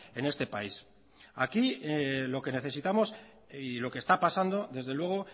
en este país aquí lo que necesitamos y lo que está pasando desde luego